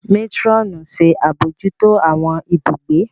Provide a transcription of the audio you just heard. Matron ṣe abojuto awọn ibùgbé.